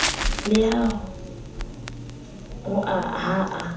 le a hoa ha a